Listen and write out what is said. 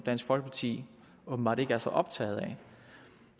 dansk folkeparti åbenbart ikke så optaget af